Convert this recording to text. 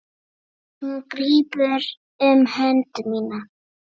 Hún grípur um hönd mína.